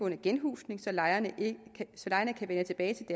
genhusning så lejerne kan vende tilbage til